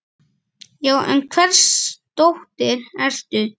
Já, en hvers dóttir ertu?